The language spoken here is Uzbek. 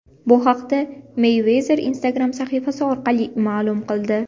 Bu haqda Meyvezer Instagram sahifasi orqali ma’lum qildi .